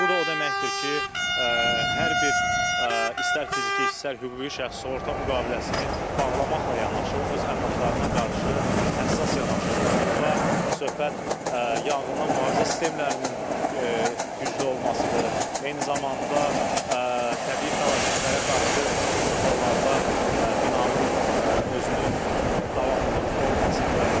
Bu da o deməkdir ki, hər bir istər fiziki, istərsə hüquqi şəxs sığorta müqaviləsini bağlamaqla yanaşı öz əmlaklarına qarşı həssas yanaşırlar, burada söhbət yanğından mühafizə sistemlərinin güclü olmasıdır, eyni zamanda təbii fəlakətlərə qarşı bir çox hallarda binanın özünün davamlılığının olmasıdır.